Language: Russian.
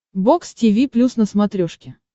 бокс тиви плюс на смотрешке